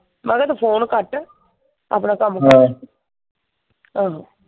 ਮੈਂ ਕਿਹਾ ਤੂੰ ਫੋਨ ਕੱਟ। ਆਪਣਾ ਕੱਮ ਕਰ। ਆਹੋ।